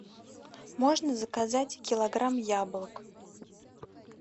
можно заказать килограмм яблок